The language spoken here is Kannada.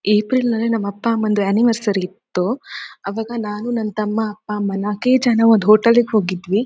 ಏಪ್ರಿಲ್ ನಲ್ಲಿ ನಮ್ಮ ಅಪ್ಪ ಅಮ್ಮನದು ಆನಿವರ್ಸರಿ ಇತ್ತು ಆವಾಗ ನಾನು ನನ್ನ ತಮ್ಮ ಅಪ್ಪ ಅಮ್ಮಾನ ನಾಕೆ ಜನ ಒಂದು ಹೋಟೆಲ್ಗೆ ಹೋಗಿದ್ದಿವಿ.